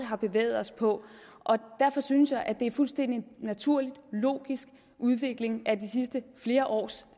har bevæget os ind på og derfor synes jeg at det er en fuldstændig naturlig logisk udvikling af de sidste flere års